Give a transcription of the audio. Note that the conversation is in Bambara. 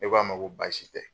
I ko a ma ko baasi tɛ